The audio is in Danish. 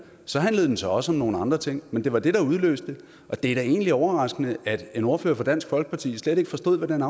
så handlede den så også om nogle andre ting men det var det der udløste det og det er da egentlig overraskende at en ordfører for dansk folkeparti slet ikke forstod hvad den